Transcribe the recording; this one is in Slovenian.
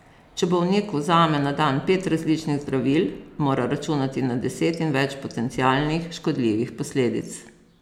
Če bolnik vzame na dan pet različnih zdravil, mora računati na deset in več potencialnih škodljivih posledic.